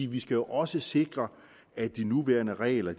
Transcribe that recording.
vi skal også sikre at de nuværende regler